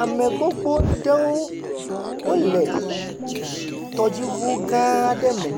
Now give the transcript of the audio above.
Ame gbogbo aɖewo le tɔdziʋu aɖe me